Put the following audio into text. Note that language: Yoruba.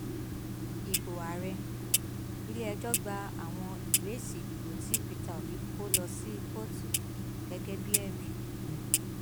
ibo ààrẹ ilẹẹjọ gba àwọn ìwé èsì ìdìbò tí pété obi kọ lọ sí kóòtù gẹgẹ bíi ẹrí